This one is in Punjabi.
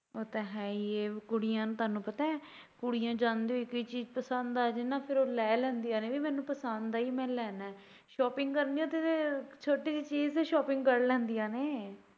ਉਹ ਤਾਂ ਹੈ ਈ ਐ ਕੁੜੀਆ ਨੂੰ ਤੁਹਾਨੂੰ ਪਤਾ ਕੁੜੀਆਂ ਜਾਂਦੇ ਹੋਏ ਕੋਈ ਚੀਜ ਪਸੰਦ ਆ ਜਾਏ ਉਹ ਲੈ ਲੈਂਦੀਆਂ ਨੇ ਵੀ ਮੈਨੂੰ ਪਸੰਦ ਆਈ ਮੈਂ ਲੈਣਾ ਐ shopping ਕਰਨ ਗਏ ਉੱਥੇ ਤਾਂ ਛੋਟੀ ਜੇਹੀ ਚੀਜ ਚੋਂ shopping ਕੱਢ ਲੈਂਦੀਆਂ ਨੇ।